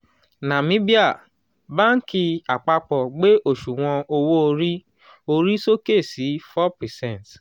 nàmíbíà: báńkì àpapọ̀ gbé oṣuwon owó orí orí sókè sí four percent